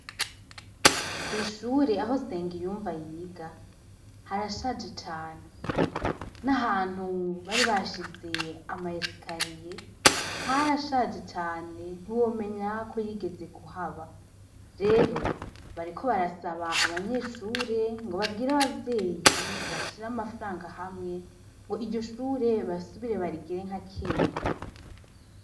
Kw'ishure aho senga iyumva yiga harashaje cane n'ahantu bari bashize amayesikariye harashaje cane ntiwomenya ko yigeze kuhaba rero bariko barasaba abanyeshure ngo babwire abavyeyi bae ra amafaranga hamwe ngo iryo shure basubire barigere nka kera.